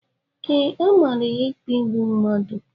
Ee, a mara ya ikpe igbu mmadụ